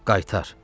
Qaytar.